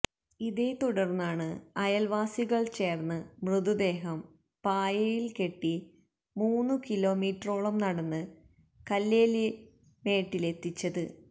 ഇതേ തുടർന്നാണ് അയൽവാസികൾ ചേർന്ന് മൃതദേഹം പായയിൽ കെട്ടി മൂന്നുകിലോമീറ്ററോളം നടന്ന് കല്ലേലിമേട്ടിലെത്തിച്ചത്